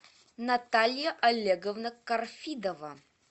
наталья олеговна корфидова